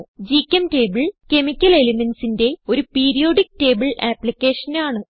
ഗ്ചെംറ്റബിൾ chemical elementsന്റെ ഒരു periodic table ആപ്പ്ളിക്കേഷനാണ്